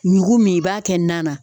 Ɲugu min i b'a kɛ nan na